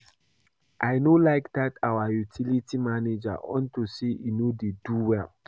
I no like dat our utility manager unto say he no dey do well